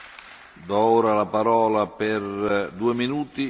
Pane předsedo, klíčovým tématem je Lisabonská smlouva.